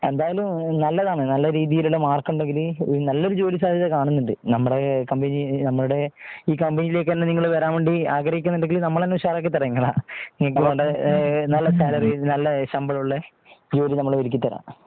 എന്തായാലും നല്ലതാണ് നല്ല രീതിയിൽ മാർക് ഉണ്ടെങ്കിൽ നല്ലൊരു ജോലി സാധ്യത കാണുന്നുണ്ട്. നമ്മുടെ കമ്പനി നമ്മുടെ ഈ കമ്പനി യിലേക്ക് നിങ്ങൾ വരാൻ വേണ്ടി ആഗ്രഹിക്കുന്നുണ്ടെങ്കിൽനമ്മള് തന്നെ ഉഷാറാക്കി തരാം നിങ്ങളെ നല്ല സാലറി നല്ല ശമ്പളമുള്ള ജോലി നമ്മൾ ഒരുക്കി തരാം